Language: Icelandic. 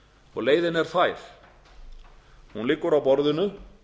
og leiðin er fær hún liggur á borðinu